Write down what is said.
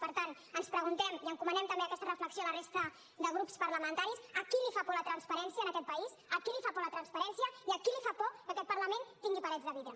per tant ens preguntem i encomanem també aquesta reflexió a la resta de grups parlamentaris a qui li fa por la transparència en aquest país a qui li fa por la transparència i a qui li fa por que aquest parlament tingui parets de vidre